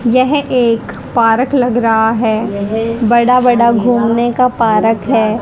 यह एक पार्क लग रहा है बड़ा बड़ा घूमने का पार्क है।